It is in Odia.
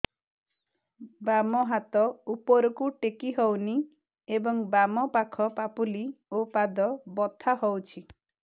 ବାମ ହାତ ଉପରକୁ ଟେକି ହଉନି ଏବଂ ବାମ ପାଖ ପାପୁଲି ଓ ପାଦ ବଥା ହଉଚି